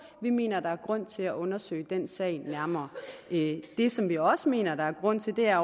vi mener der er grund til at undersøge den sag nærmere det som vi også mener der er grund til er